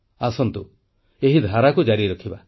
ଆସନ୍ତୁ ଏହି ଧାରାକୁ ଜାରି ରଖିବା